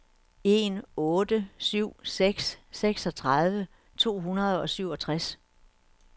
en otte syv seks seksogtredive to hundrede og syvogtres